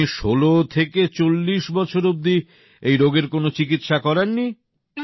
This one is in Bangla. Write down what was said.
তো আপনি ১৬ থেকে ৪০ বছর অব্দি এই রোগের কোন চিকিৎসা করাননি